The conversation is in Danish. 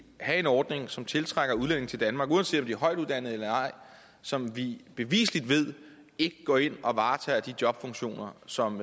have en ordning som tiltrækker udlændinge til danmark uanset om de er højtuddannede eller ej som vi bevisligt ved ikke går ind og varetager de jobfunktioner som